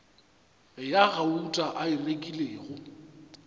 ya gauta a e rekilego